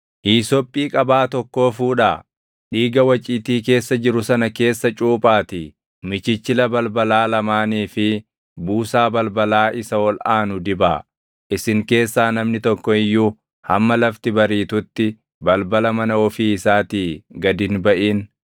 Hiisophii qabaa tokkoo fuudhaa; dhiiga waciitii keessa jiru sana keessa cuuphaatii michichila balbalaa lamaanii fi buusaa balbalaa isa ol aanu dibaa. Isin keessaa namni tokko iyyuu hamma lafti bariitutti balbala mana ofii isaatii gad hin baʼin.